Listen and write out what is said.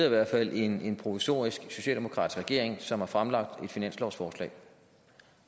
i hvert fald en provisorisk socialdemokratisk regering som har fremlagt et finanslovsforslag